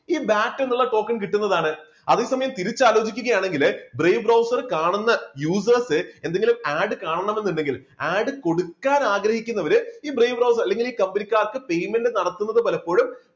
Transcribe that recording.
ഈ BAT എന്ന് ഉള്ള token കിട്ടുന്നതാണ്. അതേസമയം തിരിച്ച് ആലോചിക്കുകയാണെങ്കില് brave browser കാണുന്ന users എന്തെങ്കിലും add കാണണമെന്നുണ്ടെങ്കിൽ add കൊടുക്കാന് ആഗ്രഹിക്കുന്നവര് ഈ brave browser അല്ലെങ്കിൽ ഈ കമ്പനിക്കാർക്ക് payment നടത്തുന്നത് പലപ്പോഴും